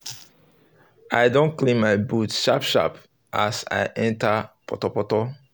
i um don clean my boots sharp sharp as i enter potopoto